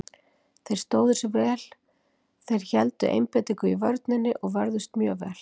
Þeir stóðu sig vel, þeir héldu einbeitingu í vörninni og vörðust mjög vel.